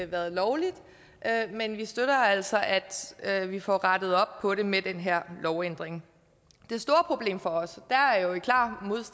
været lovligt men vi støtter altså at at vi får rettet op på det med den her lovændring det store problem for os